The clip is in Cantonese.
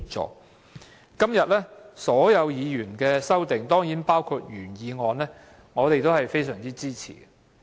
對於今天所有議員提出的修正案——當然包括原議案，我們也非常支持。